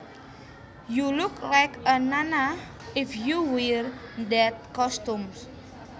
You look like a nana if you wear that costume